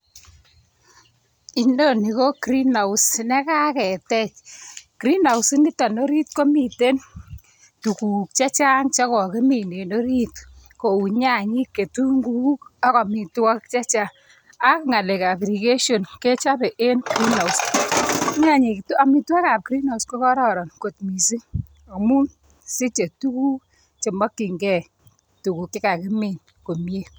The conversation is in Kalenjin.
Inoni KO green house nekaketech, green house initok orit komiten tuguuk chechang chekokimi en orit. Kou nyanyik ,kitunguik ak amitwogik chechang. Ak ngalekab irrigation kechobe en green house ini. Amitwogiik ab green house ko koroon kot missing amun siche tuguuk chemokyingei tuguk chekakimin .